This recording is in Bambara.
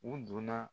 U donna